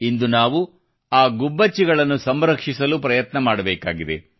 ಇಂದು ನಾವು ಆ ಗುಬ್ಬಚ್ಚಿಗಳನ್ನು ಸಂರಕ್ಷಿಸಲು ಪ್ರಯತ್ನ ಮಾಡಬೇಕಾಗಿದೆ